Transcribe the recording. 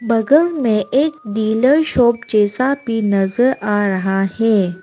बगल में एक डीलर शॉप जैसा भी नजर आ रहा हैं।